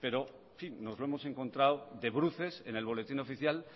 pero en fin nos lo hemos encontrado de bruces en el boletín oficial